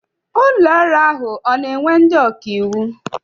Ụlọọrụ ahụ ọ na-ewe ndị ọkaiwu?